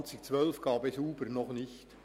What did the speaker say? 2012 gab es «Uber» noch nicht.